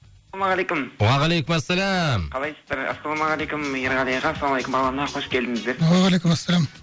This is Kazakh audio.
уағалейкумассалам қалайсыздар ассалаумағалейкум ерғали аға ассаламағалейкум бағлан аға қош келдіңіздер уағалейкумассалам